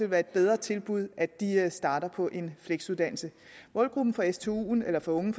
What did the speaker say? være et bedre tilbud at de starter på en fleksuddannelse målgruppen for stuen eller for unge